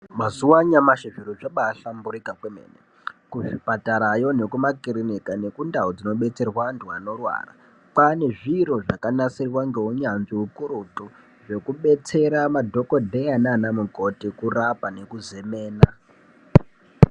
Mazuwa anyamashi zviro zvakahlamburika kwemene kuzvipatarayo nekumakirinika nekundau dzinobetsera antu anorwara. Kwaane zviro zvakanasirwa ngeunyanzvi ukurutu, zvekubetsera madhokodheya naanamukoti kurapa nekuzemena.